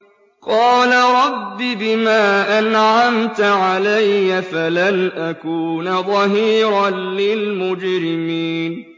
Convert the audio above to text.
قَالَ رَبِّ بِمَا أَنْعَمْتَ عَلَيَّ فَلَنْ أَكُونَ ظَهِيرًا لِّلْمُجْرِمِينَ